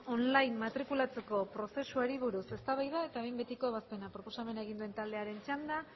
online matrikulatzeko prozesuari buruz eztabaida eta behin betiko ebazpena proposamen egin duen taldearen txanda